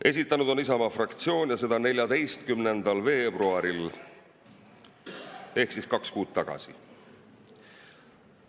" Esitanud on Isamaa fraktsioon ja seda 14. veebruaril ehk kaks kuud tagasi.